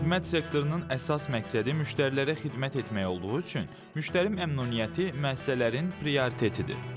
Xidmət sektorunun əsas məqsədi müştərilərə xidmət etmək olduğu üçün müştəri məmnuniyyəti müəssisələrin prioritetidir.